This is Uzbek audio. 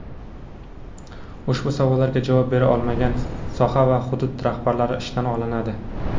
ushbu savollarga javob bera olmagan soha va hudud rahbarlari ishdan olinadi.